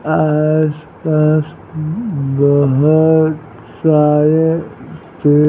आसपास बहुत सारे थे --